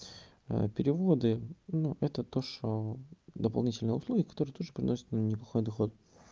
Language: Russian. переводы ну это то что дополнительные услуги которые тоже приносят нам неплохой доход